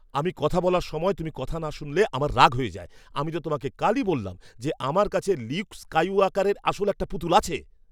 আমি কথা বলার সময় তুমি না শুনলে আমার রাগ হয়ে যায়। আমি তো তোমাকে কালই বললাম যে আমার কাছে লিউক স্কাইওয়াকারের আসল একটা পুতুল আছে।